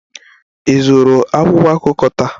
Ị zụrụ akwụkwọ akụkọ taa?